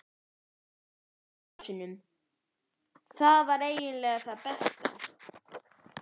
Og rennilásum- það var eiginlega það besta.